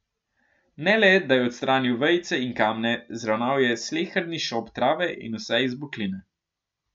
Ne le da je odstranil vejice in kamne, zravnal je sleherni šop trave in vse izbokline.